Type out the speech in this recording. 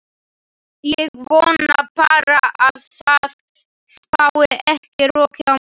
Ég vona bara að það spái ekki roki á morgun.